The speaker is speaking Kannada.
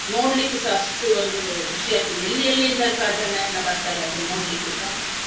ನೋಡ್ಲಿಕ್ಕುಸ ಅಷ್ಟು ಒಂದು ಖುಷಿಯಾಗ್ತದೆ ಎಲ್ಲಿ ಎಲ್ಲಿಂದಸ ಜನ ಎಲ್ಲಾ ಬರ್ತಾರೆ ಅದನ್ನು ನೋಡ್ಲಿಕ್ಕುಸ.